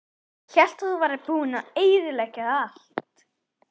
Hélt að þú værir búinn að eyðileggja allt.